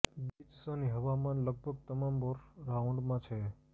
beach sunny હવામાન લગભગ તમામ વર્ષ રાઉન્ડમાં છે